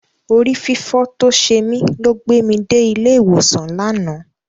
Orí fífọ́ tó ṣe mí ló gbé mi dé ilé ìwòsàn lánàá.